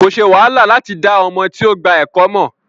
Ko ṣe wàhálà lati da ọmọ ti o gba ẹkọ mọ.